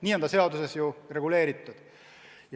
Nii on see seaduses reguleeritud.